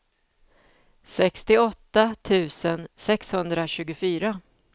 sextioåtta tusen sexhundratjugofyra